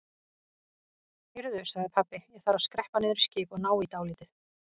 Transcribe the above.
Heyrðu sagði pabbi, ég þarf að skreppa niður í skip og ná í dálítið.